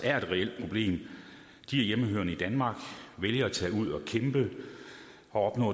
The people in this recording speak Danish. er et reelt problem de er hjemmehørende i danmark vælger at tage ud og kæmpe og